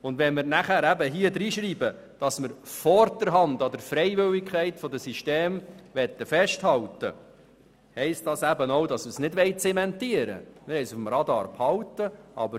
Und wenn wir danach hineinschreiben, dass wir vorderhand an der Freiwilligkeit der Systeme festhalten wollen, heisst das auch, dass wir das nicht zementieren, sondern auf dem Radar behalten wollen.